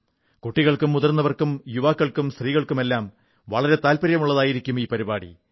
കുട്ടികൾക്കും മുതിർന്നവർക്കും യുവാക്കൾക്കും സ്ത്രീകൾക്കുമെല്ലാം വളരെ താത്പര്യമുള്ളതായിരിക്കും ഈ പരിപാടി